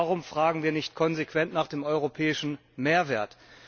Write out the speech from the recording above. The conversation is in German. Warum fragen wir nicht konsequent nach dem europäischen Mehrwert?